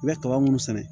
I bɛ kaba minnu sɛnɛ